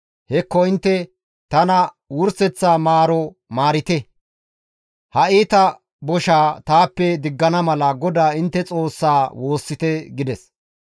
Hekko intte tana wurseththa maaro maarite. Ha iita boshaa taappe diggana mala GODAA intte Xoossaa woossite» gides.